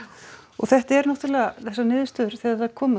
þetta er náttúrulega þessar niðurstöður þegar þær koma